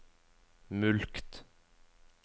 mulkt